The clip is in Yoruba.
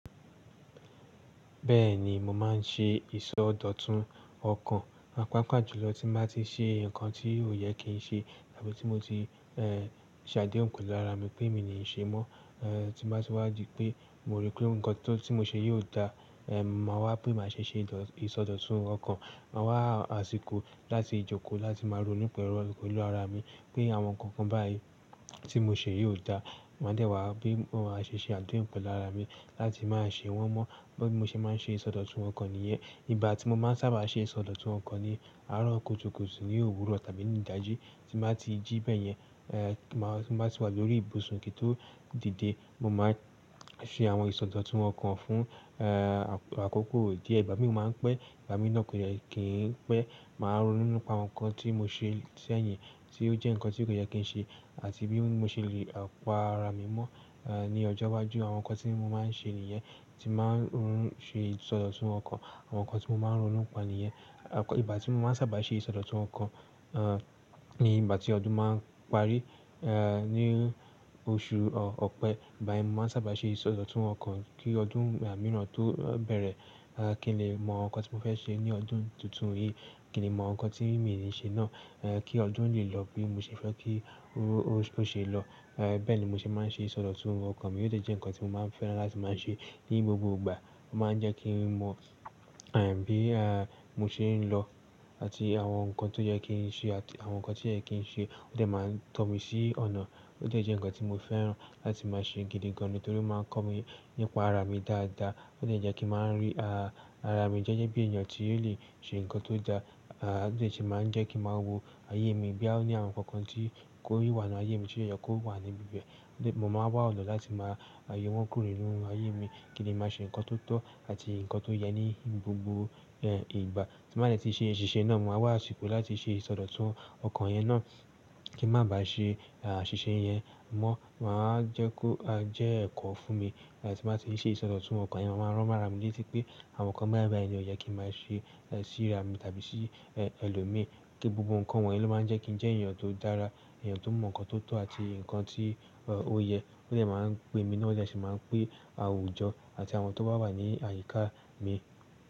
Bẹ́ẹ̀ni, mo máa ń ṣe ìsọdọ̀tun ọkàn. Paápaà jùlọ tí m bá ti ṣe nǹkan tí ó yẹ kí n ṣe tàbí tí mo ti ṣàdéhùn pẹ̀lú ara mi pé mi ò ní ṣe mọ́, tí mo bá ti wà dí pé mo rí pé ǹkan tí mo ṣe yìí o dáa, máa wá bí maa ṣe ṣe ìsọdọ̀tun ọkàn. Máa wá àsìkò láti jókòó láti máa ronú pẹ̀lú a pẹ̀lú ara mi pé àwọn nǹkan kan báyìí tí mo ṣe yìí o dáa. Máa dẹ̀ wá bí mo máa ṣe ṣe àdéhùn pẹ̀lú ára mi láti máa ṣe wọ́n mọ́. Gbo bí mo ṣe máa ń ṣe ìsọdọ̀tun ọkàn nìyẹn. Ìgbà tí mo máa ń sábà ṣe ìsọdọ̀tun ọkàn ni àárọ̀ kùtùkùtù ní òwúrọ̀ tàbí ní ìdájí tí mo bá ti jí bẹ́yẹn, tí mo bá ti wà lórí ìbùsùn kì n tó dìde. Mo máa ń ṣe àwọn ìsọdọ̀tun ọkàn fún àkókò díẹ̀, ìgbà mií ò máa ń pẹ́, ìgbà mií náà kò dẹ̀ kì n pẹ́. Màá ronú nípa àwọ̀n nǹkan tí mo ṣe sẹ́yìn tí ó jẹ́ nǹkan tí kò yẹ kí n ṣe àti bí mo ṣe lè pa ara mi mọ́ ní ọjọ́ iwájú. Àwọn nǹkan tí mo máa ń ṣe nìyẹn, tí n ba ń ṣe ìsọdọ̀tun ọkàn, àwọn nǹkan tí mo máa ń ronú npà nìyẹn. Ìgbà tí mo máa ń sábà ṣe ìsọdọ̀tun ọkàn ni ìgbà tí ọdún máa ń parí ní oṣù ọ̀pẹ. Ìgbá yẹn n mo máa ń sábà ṣe ìsọdọ̀tun ọkàn kí ọdún mìíràn tó bẹ̀rẹ̀, kí n lè mọ ǹkan tí mo fẹ́ ṣe ní ọdún tuntun yìí, kí n lè mọ ǹkan tí mii ní ṣe náà kí ọdún lè lọ bí mo ṣe fẹ́ kí ó ṣe lọ. Bẹ́ẹ̀ ni mo ṣe máa ń ṣe ìsọdọ̀tun ọkàn mi. Ó dẹ̀ jẹ́ nǹkan tí mo máa ń fẹ́ràn láti máa ṣe ní gbogbo ìgbà, ó máa ń jẹ́ kí n mọ bí mo ṣe ń lọ àti àwọn nǹkan tó yẹ kí n ṣe àti àwọn nǹkan tí o yẹ kí n ṣe. Ó dẹ máa n tọ́ mi sí ọ̀nà, ó dẹ̀ jẹ nǹkan tí mo fẹ́ràn láti máa ṣe gidi gan ni torí ó máa ń kọ́ mi nípa ara mi dáadáa. Ó dẹ̀ jẹ kí n máa n rí ara mi gẹ́gẹ́ bí èèyàn tí ó lè ṣe nǹkan tó dáa. Ó dẹ̀ sì máa ń jẹ́ kí n máa wo ayé mi bóyá ó ní àwọn nǹkan kan tí o wà nínú ayé mi tí ó yẹ kó wà ní ibi bẹ́ẹ̀. Mo máa wá ọ̀nà láti máa yọ wọ́n kúrò nínú ayé mi kí n lè màá ṣe nǹkan tó tọ́ àti nǹkan tó yẹ ní gbogbo ìgbà. Tí mo bá dẹ̀ tí ṣe àṣìṣe náà, mo máa wá àsìkò láti ṣe ìsọdọ̀tun ọkàn yẹn náà kí n má bá ṣe àṣìṣe yẹn mọ́. Màá jẹ́ kó jẹ́ ẹ̀kọ́ fún mi. Tí mo bá ti ṣe ìsọdọ̀tun ọkàn yẹn, mo máa rán mara mi létí pé àwọn nǹkan báyìí báyìí ni o yẹ kí n máa ṣe síra mi tàbí sí ẹlòmíi kí gbogbo nǹkan wọ̀nyí ló máa ń jẹ́ kí n jẹ́ èèyàn tó dára, èèyàn tó mọ̀ nǹkan tó tọ́ àti nǹkan tí ó yẹ. Yẹ ó dẹ̀ máa ń pè mi náà o dẹ̀ sì máa ń pè àwùjọ àti àwọn tó bá wà ní àyíká mi.